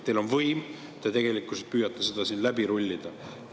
Teil on võim ja te tegelikkuses püüate seda siin läbi rullida.